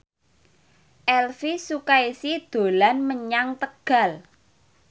Elvi Sukaesih dolan menyang Tegal